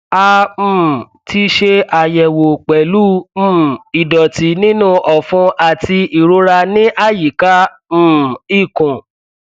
a um ti ṣe àyẹwò pẹlú um ìdọtí nínú ọfun àti ìrora ní àyíká um ikùn